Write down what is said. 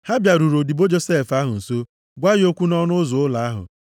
Ha bịaruru odibo Josef ahụ nso gwa ya okwu nʼọnụ ụzọ ụlọ ahụ.